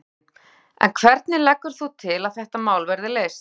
Þóra Kristín: En hvernig leggur þú til að þetta mál verði leyst?